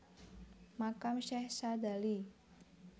Makam Syekh Sadzali